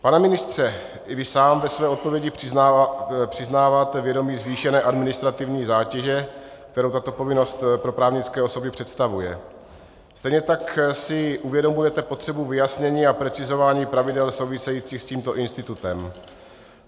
Pane ministře, i když sám ve své odpovědi přiznáváte vědomí zvýšené administrativní zátěže, kterou tato povinnost pro právnické osoby představuje, stejně tak si uvědomujete potřebu vyjasnění a precizování pravidel souvisejících s tímto institutem.